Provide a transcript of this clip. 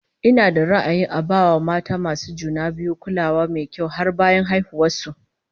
Ina da ra'ayin a ba mata masu juna biyu kulawa mai kyau har bayan haihuwar su